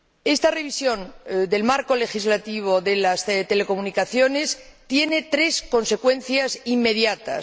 Esta revisión del marco legislativo de las telecomunicaciones tiene tres consecuencias inmediatas.